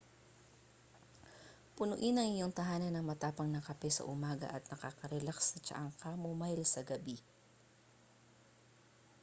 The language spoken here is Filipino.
punuin ang iyong tahanan ng matapang na kape sa umaga at nakakarelaks na tsaang chamomile sa gabi